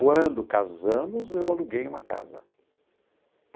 Quando casamos, eu aluguei uma casa.